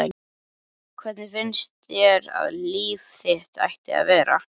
Hvernig finnst þér að líf þitt ætti að vera?